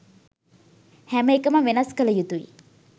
හැම එකම වෙනස් කල යුතුයි